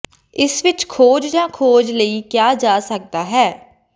ਇਸ ਵਿੱਚ ਖੋਜ ਜਾਂ ਖੋਜ ਲਈ ਕਿਹਾ ਜਾ ਸਕਦਾ ਹੈ